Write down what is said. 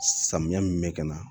Samiya min bɛ ka na